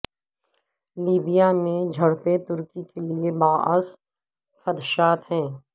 Libya میں جھڑپیں ترکی کے لیے باعث خدشات ہیں